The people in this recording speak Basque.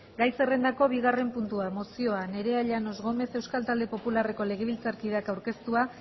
gai zerrendako bigarren puntua mozioa nerea llanos gómez euskal talde popularreko legebiltzarkideak aurkeztua